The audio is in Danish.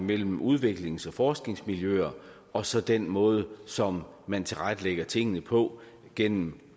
mellem udviklings og forskningsmiljøer og så den måde som man tilrettelægger tingene på gennem